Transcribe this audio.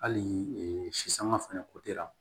Hali si sanga fɛnɛ